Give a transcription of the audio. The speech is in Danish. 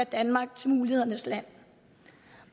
danmark til mulighedernes land